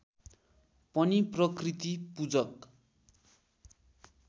पनि प्रकृति पुजक